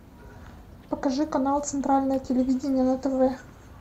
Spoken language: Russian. покажи канал центральное телевидение на тв